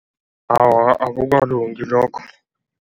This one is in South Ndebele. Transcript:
Awa, akukalungi lokho.